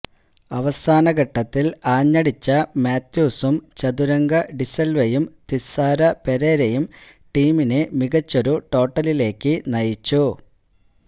അവസാന ഘട്ടത്തില് ആഞ്ഞടിച്ച മാത്യൂസും ചതുരംഗ ഡിസില്വയും തിസാര പെരേരയും ടീമിനെ മികച്ചൊരു ടോട്ടലിലേക്ക് നയിച്ചു